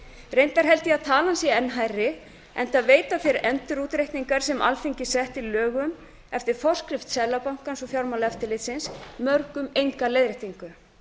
reyndar held ég að talan sé enn hærri enda veita þeir endurútreikningar sem alþingi setti lög um eftir forskrift seðlabankans og fjármálaeftirlitsins mörgum enga leiðréttingu